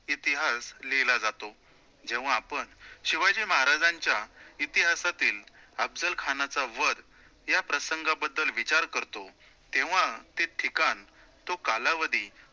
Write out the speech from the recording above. तो इतिहास लिहिला जातो, जेव्हा आपण शिवाजी महाराजांच्या इतिहासातील अफजल खानाचा वध या प्रसंगाबद्दल विचार करतो, तेव्हा ते ठिकाण, तो कालावधी